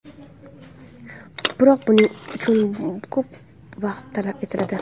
Biroq buning uchun ko‘p vaqt talab etiladi.